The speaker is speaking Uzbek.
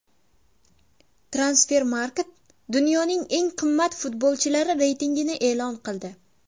Transfermarkt dunyoning eng qimmat futbolchilari reytingini e’lon qildi.